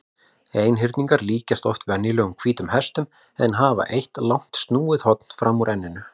Einhyrningar líkjast oft venjulegum hvítum hestum en hafa eitt langt snúið horn fram úr enninu.